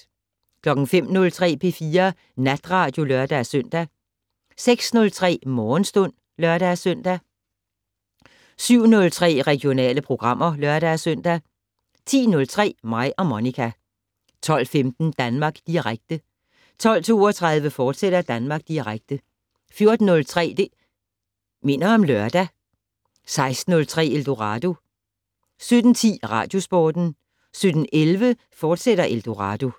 05:03: P4 Natradio (lør-søn) 06:03: Morgenstund (lør-søn) 07:03: Regionale programmer (lør-søn) 10:03: Mig og Monica 12:15: Danmark Direkte 12:32: Danmark Direkte, fortsat 14:03: Det' Minder om Lørdag 16:03: Eldorado 17:10: Radiosporten 17:11: Eldorado, fortsat